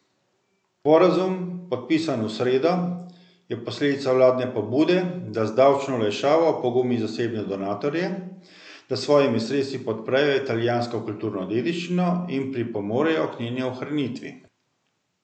Sporazum, podpisan v sredo, je posledica vladne pobude, da z davčno olajšavo opogumi zasebne donatorje, da s svojimi sredstvi podprejo italijansko kulturno dediščino in pripomorejo k njeni ohranitvi.